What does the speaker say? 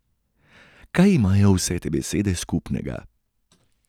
Kaj imajo vse te besede skupnega?